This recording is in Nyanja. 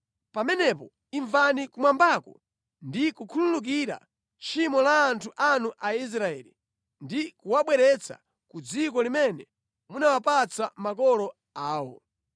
pamenepo imvani kumwambako ndi kukhululukira tchimo la anthu anu Aisraeli ndi kuwabweretsa ku dziko limene munawapatsa makolo awo.